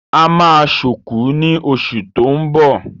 A ma ṣòkú ní oṣù tó ń bọ̀